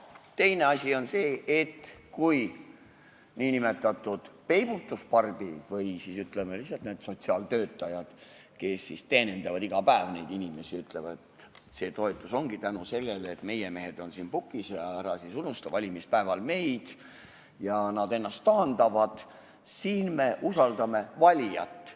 Teine asi on see, et kui nn peibutuspardid või, ütleme, need sotsiaaltöötajad, kes teenindavad iga päev inimesi ja räägivad, et see toetus ongi võimalik tänu sellele, et meie mehed on siin pukis, ja ära siis valimispäeval meid unusta, ennast taandavad, siis siin me usaldame valijat.